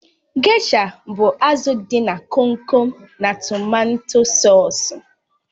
Gesha bụ azụ dị na Kom Kom na tomato sọsú